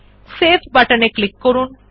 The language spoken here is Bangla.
সেভ বাটন এ ক্লিক করুন